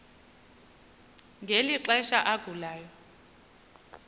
ngeli xesha agulayo